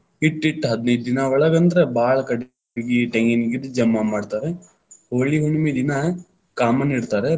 ಇಟ್ಟ ಇಟ್ಟ ಹದನೈದ ದಿನಾ ಒಳಗಂದ್ರ ಭಾಳ ಕಟಗಿ, ಟೆಂಗಿನಗರಿ ಜಮಾ ಮಾಡ್ತಾರ, ಹೋಳಿ ಹುಣ್ಣಮಿ ದಿನಾ ಕಾಮಣ್ಣ ಇಡ್ತಾರ.